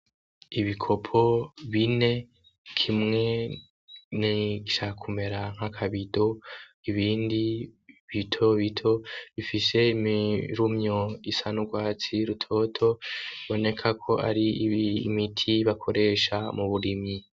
Ibikopo bine kimwe ni cakumera nka kabido ibindi bitobito bifise imirumyo isanurwatsi rutoto boneka ko ari iimiti bakoresha mu burimyi.